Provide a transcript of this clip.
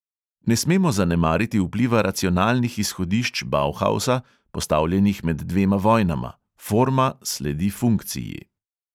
Ne smemo zanemariti vpliva racionalnih izhodišč bauhausa, postavljenih med dvema vojnama: forma sledi funkciji.